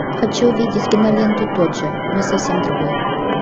хочу увидеть киноленту тот же но совсем другой